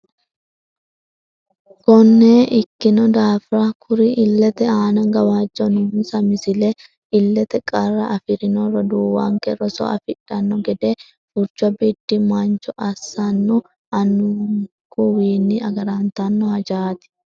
Konne ikkino daafira kuri illete aana gawajjo noonsa Misile Illete qarra afi rino roduuwanke roso afidhanno gede furcho biddi mancho assa annu annunkuwiinni agarantanno hajaati.